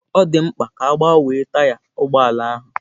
Ọ dị mkpa ka a gbanwee taya ụgbọ ala ahụ.